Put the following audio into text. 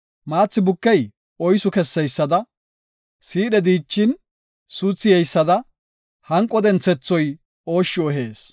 Maathi bukey oysu kesseysada, siidhe dichin suuthi yeysada, hanqo denthethoy ooshshu ehees.